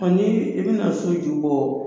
Ɔ n'i bɛna so ju bɔ